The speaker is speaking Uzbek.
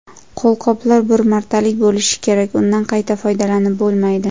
Qo‘lqoplar bir martalik bo‘lishi kerak, undan qayta foydalanib bo‘lmaydi.